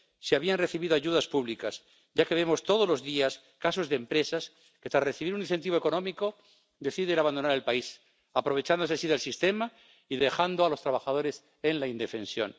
si habían recibido ayudas públicas, ya que vemos todos los días casos de empresas que, tras recibir un incentivo económico, deciden abandonar el país, aprovechándose así del sistema y dejando a los trabajadores en la indefensión.